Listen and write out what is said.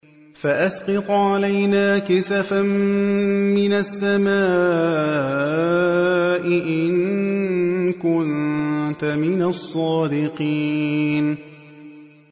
فَأَسْقِطْ عَلَيْنَا كِسَفًا مِّنَ السَّمَاءِ إِن كُنتَ مِنَ الصَّادِقِينَ